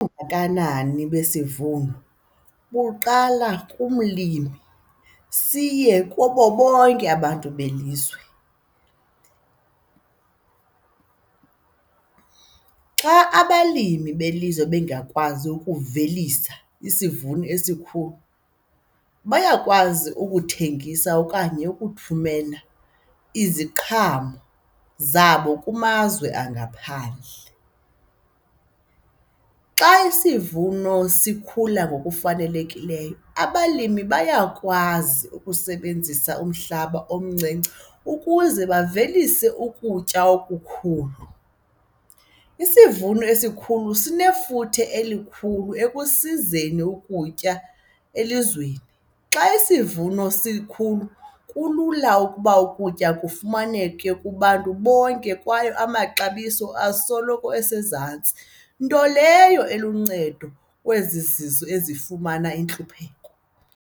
Ubungakanani besivuno buqala kumlimi siye kubo bonke abantu belizwe. Xa abalimi belizwe bengakwazi ukuvelisa isivuno esikhulu bayakwazi ukuthengisa okanye ukuthumela iziqhamo zabo kumazwe angaphandle. Xa isivuno sikhula ngokufanelekileyo, abalimi bayakwazi ukusebenzisa umhlaba omncinci ukuze bavelise ukutya okukhulu. Isivuno esikhulu sinefuthe elikhulu ekusizeni ukutya elizweni. Xa isivuno sikhulu kulula ukuba ukutya kufumaneke kubantu bonke kwaye amaxabiso asoloko esezantsi, nto leyo eluncedo kwezi zizwe ezifumana intlupheko.